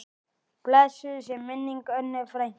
Blessuð sé minning Önnu frænku.